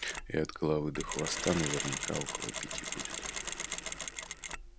и от головы до хвоста наверняка около пяти будет